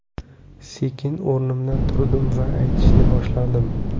Sekin o‘rnimdan turdim va aytishni boshladim.